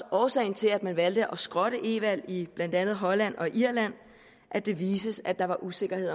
årsagen til at man valgte at skrotte e valg i blandt andet holland og irland at det viste sig at der var usikkerhed